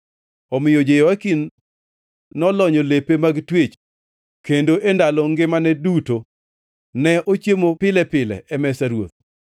Omiyo Jehoyakin nolonyo lepe mag twech kendo e ndalo ngimane duto ne ochiemo pile pile e mesa ruoth.